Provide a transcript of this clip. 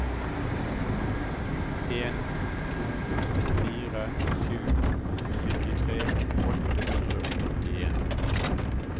en to fire sju syttitre åtte hundre og nittien